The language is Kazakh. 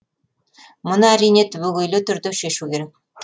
мұны әрине түбегейлі түрде шешу керек